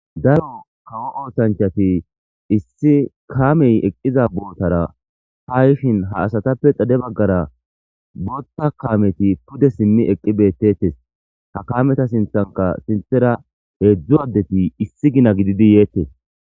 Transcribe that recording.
Daro kawo oththanichchatti issi kameyi eqqiza botara ha yishshin ha asatappe xade bagara boththa kameti pude simmi eqqi betettes.ha kameta sinththanikka sinththera hedzdzu adeti issi Gina gididi yetees.